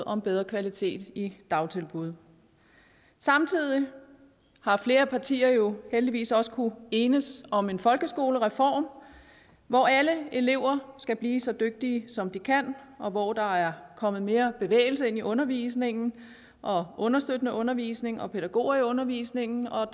om bedre kvalitet i dagtilbud samtidig har flere partier jo heldigvis også kunnet enes om en folkeskolereform hvor alle elever skal blive så dygtige som de kan og hvor der er kommet mere bevægelse ind i undervisningen og understøttende undervisning og pædagoger i undervisningen og